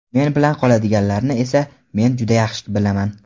Men bilan qoladiganlarni esa men juda yaxshi bilaman.